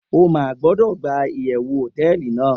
o ma gbodo gba iyewu hoteeli nàá